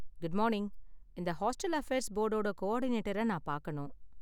Good morning, இந்த hostel affairs போர்டோட கோஆர்டினேட்டர நான் பார்க்கணும்.